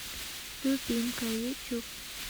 любимка ютюб